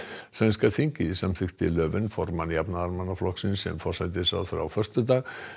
sænska þingið samþykkti formann Jafnaðarmannaflokksins sem forsætisráðherra á föstudag